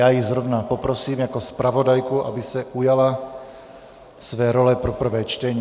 Já ji zrovna poprosím jako zpravodajku, aby se ujala své role pro prvé čtení.